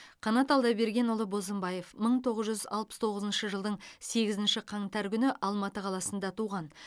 қанат алдабергенұлы бозымбаев мың тоғыз жүз алпыс тоғызыншы жылдың сегізінші қаңтар күні алматы қаласында туған